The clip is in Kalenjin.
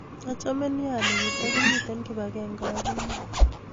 Achame nea ale katakimite kibag'enge ak innye